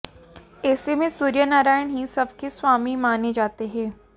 ऐसे में सूर्य नारायण ही सबके स्वामी माने जाते हैं